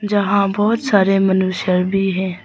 जहां बहोत सारे मनुष्य भी है।